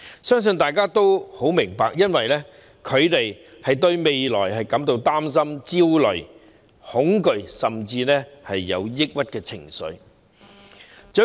相信大家也很明白這些症狀出現的原因是他們對未來感到擔憂、焦慮、恐懼，甚至有抑鬱的情緒。